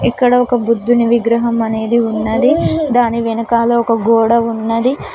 ఇక్కడ ఒక బుద్ధుని విగ్రహం అనేది ఉన్నది దాని వెనకాల ఒక గోడ ఉన్నది.